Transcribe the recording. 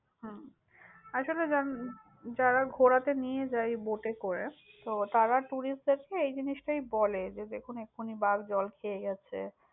হম আসলে যার~ যারা ঘোরাতে নিয়ে যায় boat এ করে, তো তারা tourist দেরকে এই জিনিসটাই বলে, যে দেখুন এক্ষুনি বাঘ জল খেয়ে গেছে।